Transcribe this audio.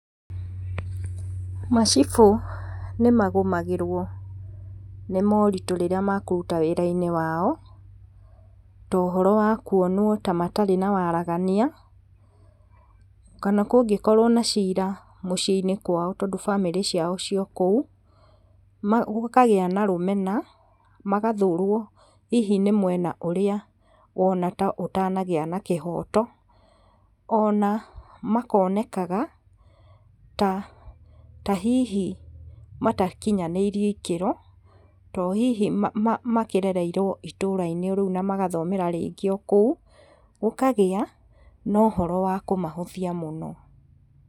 Macibũ nĩmagũmagĩrwo nĩ moritũ rĩrĩa mekũruta wĩrainĩ wao, tohoro wa kwonwo ta matarĩ na waragania, kana kũngĩkorwo na cira mũciĩinĩ kwao tondũ famĩrĩ ciao ciokũu, ma, gũkagĩa na rũmena, magathũrwo, hihi nĩ mwena ũrĩa wona taũtanagĩa na kĩhoto, ona makonekaga, ta, ta hihi matakinyanĩirie ikĩro, tondũ hihi ma, ma, makĩrereirwo o itũrainĩ rĩu na rĩngĩ magathomera rĩngĩ okũu, gũkagĩa na ũhoro wa kũmahũthia mũno.